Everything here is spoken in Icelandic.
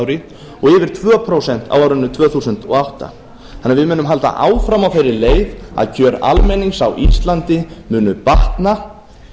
ári og yfir tvö prósent á árinu tvö þúsund og átta við munum því halda áfram á þeirri leið að kjör almennings á íslandi munu batna